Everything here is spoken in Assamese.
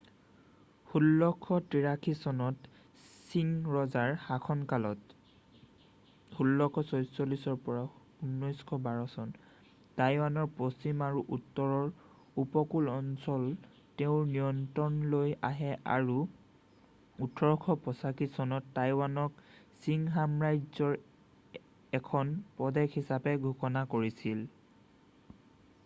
১৬৮৩ চনত ছিং ৰজাৰ শাসনকালত ১৬৪৪-১৯১২ টাইৱানৰ পশ্চিম আৰু উত্তৰৰ উপকূল অঞ্চল তেওঁৰ নিয়ন্ত্ৰণলৈ আহে আৰু ১৮৮৫ চনত টাইৱানক ছিং সম্ৰাজ্যৰ এখন প্ৰদেশ হিচাপে ঘোষণা কৰিছিল।